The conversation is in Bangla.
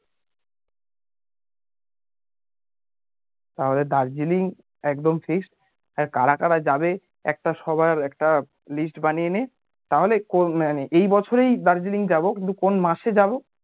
তাহলে দার্জিলিং একদম fixed আর কারা কারা যাবে একটা সবার একটা list বানিয়ে নে তাহলে এই বছরেই দার্জিলিং যাবো কিন্তু কোন মাসে যাবো